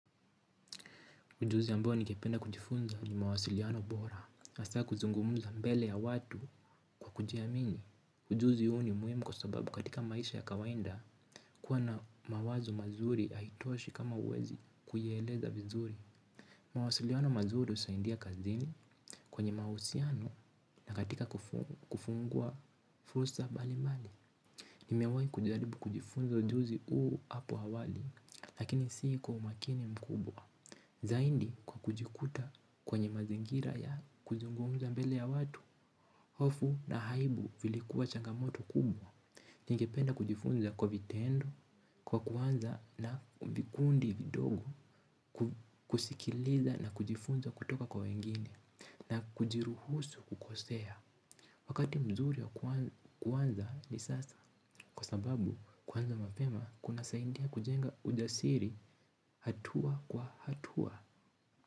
Ujuzi ambao nikipenda kujifunza ni mawasiliano bora hasa kuzungumuza mbele ya watu kwa kujiamini. Ujuzi huu ni muhimu kwa sababu katika maisha ya kawaida kuwa na mawazo mazuri haitoshi kama huwezi kuyaeleza vizuri. Mawasiliano mazuri husaidia kazini kwenye mahusiano. Na katika kufungua fursa mbalimbali nimewahi kujaribu kujifunza ujuzi huu hapo awali lakini si kwa umakini mkubwa. Zaidi kwa kujikuta kwenye mazingira ya kuzungumza mbele ya watu, hofu na aibu vilikuwa changamoto kubwa. Ningependa kujifunza kwa vitendo, kwa kuanza na vikundi vidogo kusikiliza na kujifunza kutoka kwa wengine na kujiruhusu kukosea. Wakati mzuri ya kuanza ni sasa kwa sababu kuanza mapema kunasaidia kujenga ujasiri hatua kwa hatua.